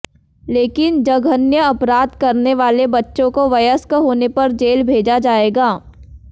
लेकिन जघन्य अपराध करने वाले बच्चों को वयस्क होने पर जेल भेजा जाएगा